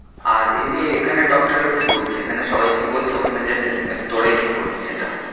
আর এমনি এখানের doctor রা কি বলছে? এখানে সবাই কি বলছে ওখানে যেতে? না কি তোরাই ঠিক করেছিস এটা?